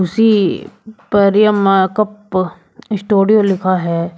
खुशी Pariya makeup studio लिखा है।